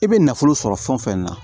I bɛ nafolo sɔrɔ fɛn o fɛn na